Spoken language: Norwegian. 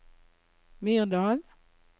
Myrdal